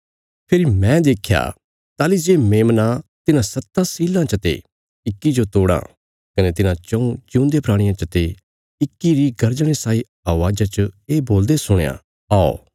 फेरी मैं देख्या ताहली जे मेमना तिन्हां सत्तां सीलां चते इक्की जो तोड़ां कने तिन्हां चऊँ जिऊंदे प्राणियां चते इक्की री गर्जणे साई अवाज़ा च ये बोलदे सुणया औ